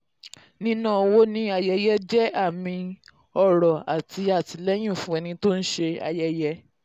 níná owó ní ayẹyẹ jẹ́ àmì ọrọ̀ àti àtìlẹ́yìn fún ẹni tó ń ṣe ayẹyẹ.